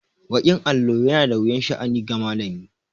Baƙin allo yana da wuyan sha'ani ga malami.